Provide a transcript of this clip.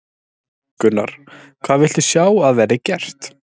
Gunnar: Hvað viltu sjá að verði gert?